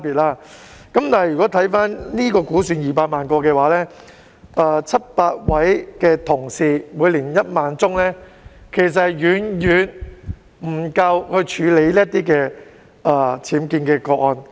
然而，如果估算到本港有200萬個僭建物的話，屋宇署700位有關同事每年處理1萬宗個案，其實是遠遠不足以處理全港僭建的個案。